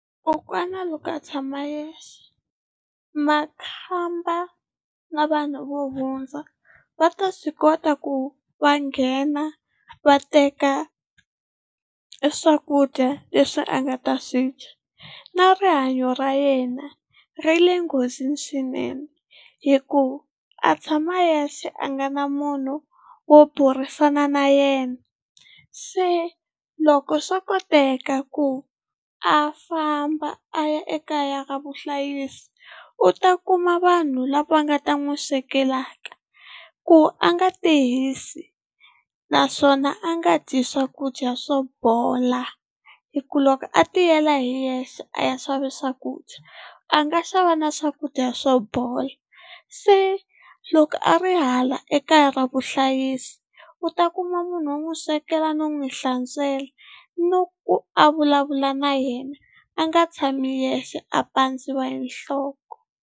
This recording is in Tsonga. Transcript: Kokwana loko a tshama yexe makhamba na vanhu vo hundza va ta swi kota ku va nghena va teka swakudya leswi a nga ta swi dya, na rihanyo ra yena ri le nghozini swinene hi ku a tshama yexe a nga na munhu wo burisana na yena. Se loko swo koteka ku a famba a ya ekaya ra vuhlayisi u ta kuma vanhu lava nga ta n'wi swekelaka ku a nga ti hisi, naswona a nga dyi swakudya swo bola hi ku loko a tiyela hi yexe a ya xava swakudya a nga xava na swakudya swo bola, se loko a a ri hala ekaya ra vuhlayisi u ta kuma munhu wo n'wi swekela no n'wi hlantswela no ku a vulavula na yena, a nga tshami yexe a pandziwa hi nhloko.